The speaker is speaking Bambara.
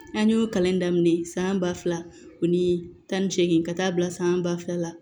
An y'o kalan daminɛ san ba fila ani tan ni seegin ka taa bila san ba fila la